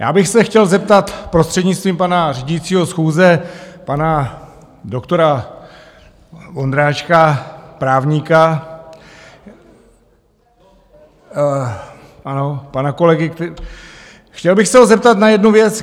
Já bych se chtěl zeptat prostřednictvím pana řídícího schůze pana doktora Vondráčka, právníka, ano, pana kolegy, chtěl bych se ho zeptat na jednu věc.